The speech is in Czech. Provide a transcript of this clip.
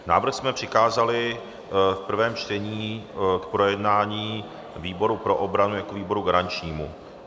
Návrh jsme přikázali v prvém čtení k projednání výboru pro obranu jako výboru garančnímu.